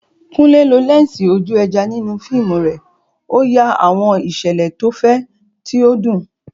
Kunle lo lẹ́ńsì ojú ẹja nínú fíìmù rẹ̀, ó ya àwọn ìṣẹ̀lẹ̀ tó fẹ̀, tí ó dùn.